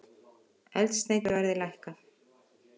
Eldsneyti verði lækkað